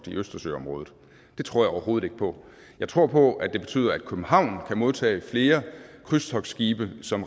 i østersøområdet det tror jeg overhovedet ikke på jeg tror på at det betyder at københavn kan modtage flere krydstogtskibe som